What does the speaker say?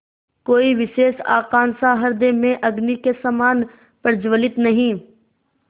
कोई विशेष आकांक्षा हृदय में अग्नि के समान प्रज्वलित नहीं